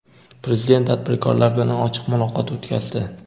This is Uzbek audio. Prezident tadbirkorlar bilan ochiq muloqot o‘tkazdi.